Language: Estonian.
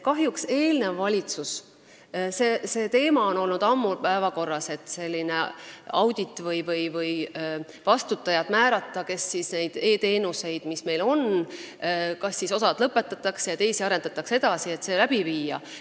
See teema on olnud ammu päevakorral, et selline audit tuleks teha või tuleks määrata vastutajad, kes hindaksid meie e-teenuseid, et kas mingi osa lõpetada ja teisi edasi arendada.